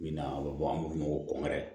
Min na a bɛ bɔ an b'a f'o ma ko kɔnkɔri